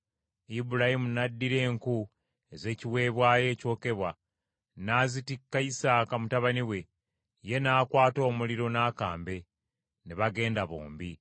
Ibulayimu n’addira enku ez’ekiweebwayo ekyokebwa n’azitikka Isaaka mutabani we, ye n’akwata omuliro n’akambe, ne bagenda bombi.